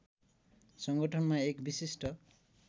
सङ्गठनमा एक विशिष्ट